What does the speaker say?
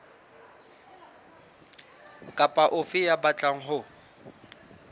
kapa ofe ya batlang ho